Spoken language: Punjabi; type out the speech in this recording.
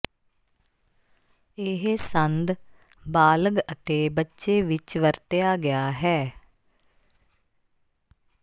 ਇਹ ਸੰਦ ਬਾਲਗ ਅਤੇ ਬੱਚੇ ਵਿੱਚ ਵਰਤਿਆ ਗਿਆ ਹੈ